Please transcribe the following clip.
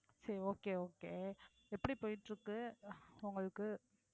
சரி okay okay எப்படி போயிட்டிருக்கு உங்களுக்கு